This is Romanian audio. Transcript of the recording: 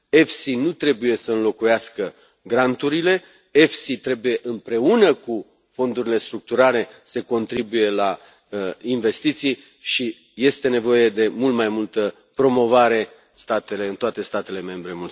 EFSI nu trebuie să înlocuiască granturile, EFSI trebuie, împreună cu fondurile structurale, să contribuie la investiții și este nevoie de mult mai multă promovare a EFSI în toate statele membre.